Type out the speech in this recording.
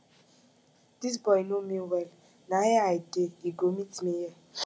dis boy no know me well na here i dey he go meet me here